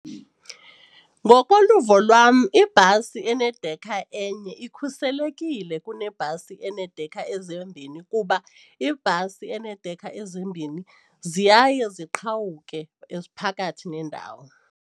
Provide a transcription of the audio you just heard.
Ngokoluvo lwam ibhasi enedekha enye ikhuselekile kunebhasi eneedekha ezimbini kuba ibhasi eneedekha ezimbini ziyaye ziqhawuke phakathi nendawo.